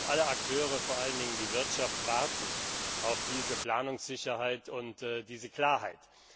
Alle Akteure, vor allen Dingen die Wirtschaft, warten auf diese Planungssicherheit und diese Klarheit.